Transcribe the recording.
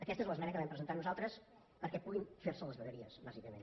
aquesta és l’esmena que vam presentar nosaltres perquè puguin fer se les vegueries bàsicament